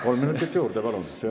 Kolm minutit juurde, palun!